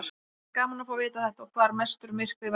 Væri gaman að fá að vita þetta og hvar mestur myrkvi verður.